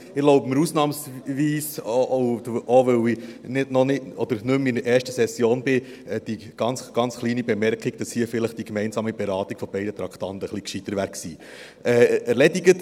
Ich erlaube mir ausnahmsweise und auch, weil ich nicht mehr in der ersten Session bin, die ganz kleine Bemerkung, dass hier vielleicht die gemeinsame Beratung beider Traktanden schlauer gewesen wäre.